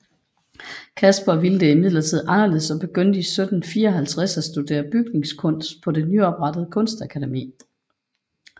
Caspar ville det imidlertid anderledes og begyndte i 1754 at studere bygningskunst på det nyoprettede Kunstakademi